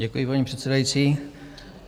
Děkuji, paní předsedající.